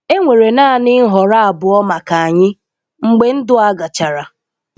Enwere naanị nhọrọ abụọ maka anyị mgbe ndụ a gachara.